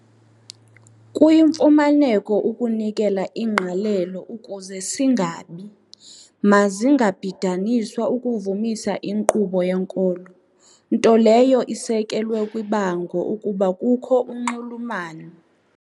kuyimfuneko ukunikela ingqalelo ukuze singabi mazingabhidaniswa ukuvumisa inkqubo yenkolo, nto leyo isekelwe kwibango ukuba kukho unxulumano.